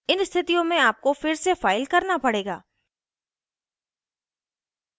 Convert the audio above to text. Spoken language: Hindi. इन स्थितियों में आपको फिर से फाइल करना पड़ेगा